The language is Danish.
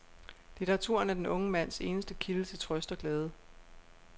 Litteraturen er den unge mands eneste kilde til trøst og glæde.